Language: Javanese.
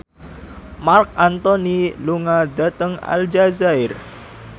Marc Anthony lunga dhateng Aljazair